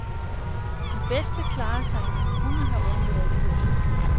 De bedste klarer sig, men kunne have undværet kurset.